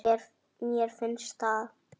Mér finnst það.